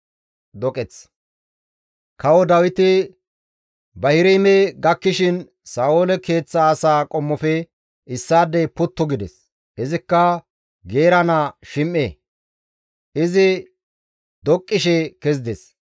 Kawo Dawiti Bahirime gakkishin Sa7oole keeththa asaa qommofe issaadey puttu gides; izikka Geera naa Shim7e; izi doqqishe kezides.